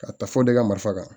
Ka taa fɔ de ka marifa kan